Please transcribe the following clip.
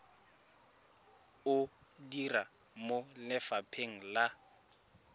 o dira mo lefapheng la